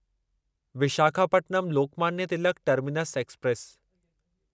Visakhapatnam Lokmanya Tilak terminus express